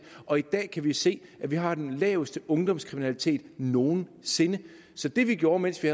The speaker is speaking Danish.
og i dag kan vi se at vi har den laveste ungdomskriminalitet nogen sinde så det vi gjorde mens vi